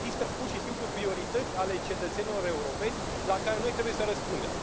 Există, pur și simplu, priorități ale cetățenilor europeni la care noi trebuie să răspundem.